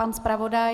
Pan zpravodaj?